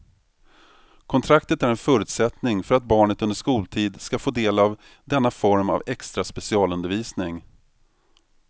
Kontraktet är en förutsättning för att barnet under skoltid ska få del av denna form av extra specialundervisning.